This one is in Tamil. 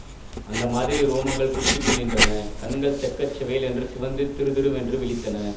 அந்த மாதிரி ரோமங்கள் குத்திட்டு நின்றன கண்கள் செக்க செவேலென்று சிவந்து திறுதிறுவென்று விழித்தன